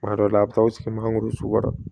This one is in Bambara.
Kuma dɔ la a bɛ taa aw sigi mangoro suga